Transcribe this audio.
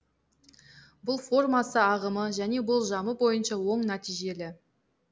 бұл формасы ағымы және болжамы бойынша оң нәтижелі